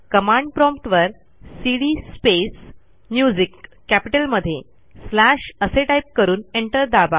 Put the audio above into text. command prompt वरcd space music M कॅपिटलमध्ये slashअसे टाईप करून एंटर दाबा